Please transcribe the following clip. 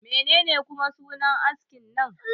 Menene kuma sunan askin nan?